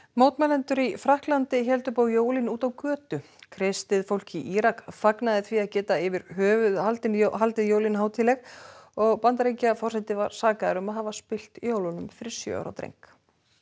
mótmælendur í Frakklandi héldu upp á jólin úti á götu kristið fólk í Írak fagnaði því að geta yfir höfuð haldið haldið jólin hátíðleg og Bandaríkjaforseti var sakaður um að hafa spillt jólunum fyrir sjö ára dreng